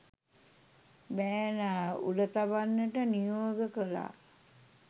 බෑනා උල තබන්නට නියෝග කළා.